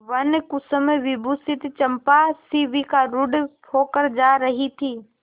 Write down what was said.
वनकुसुमविभूषिता चंपा शिविकारूढ़ होकर जा रही थी